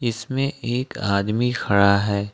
इसमें एक आदमी खड़ा है।